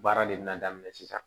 Baara de bɛna daminɛ sisan